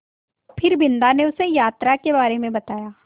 फिर बिन्दा ने उसे यात्रा के बारे में बताया